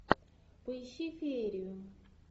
поищи феерию